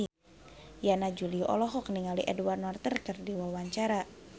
Yana Julio olohok ningali Edward Norton keur diwawancara